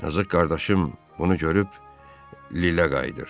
Yazıq qardaşım onu görüb lilə qayıdır.